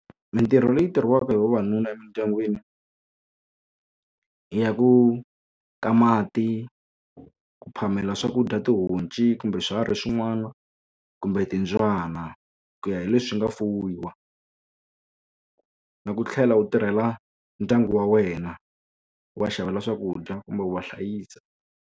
Mintirho leyi tirhisiwaka hi vavanuna emindyangwini ya ku ka mati ku phamela swakudya tihonci kumbe swiharhi swin'wana kumbe timbyana ku ya hi leswi swi nga fuyiwa na ku tlhela u tirhela ndyangu wa wena u va xavela swakudya kumbe u va hlayisa.